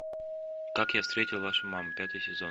как я встретил вашу маму пятый сезон